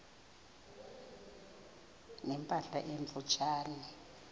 ne mpahla emfutshane